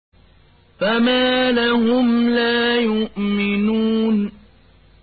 فَمَا لَهُمْ لَا يُؤْمِنُونَ